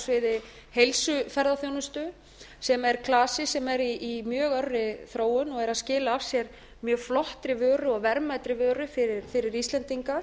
sviði heilsuferðaþjónustu sem er klasi sem er í mjög örri þróun og er að skila af sér mjög flottri vöru og verðmætri vöru fyrir íslendinga